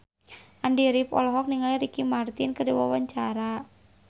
Andy rif olohok ningali Ricky Martin keur diwawancara